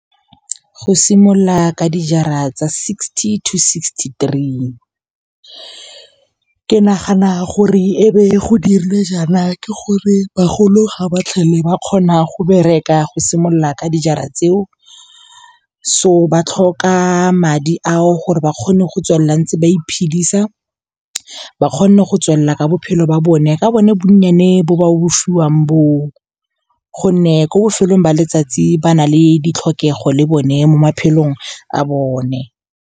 Go simolola ka dijara tsa sixty to sixty-three. Ke nagana gore e be go dirile jaana ke gore bagolo ga ba tlhole ba kgona go bereka go simolola ka dijara tseo, so ba tlhoka madi ao gore ba kgone go tswelela ntse ba iphedisa. Ba kgone go tswelela ka bophelo ba bone ka bone bonnyane bo ba bo fiwang bo o gonne, ko bofelong ba letsatsi ba na le ditlhokego le bone mo maphelong a bone.